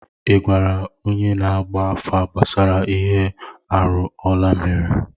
Ị gwara onye na-agba afa gbasara ihe arụ Ọla mere?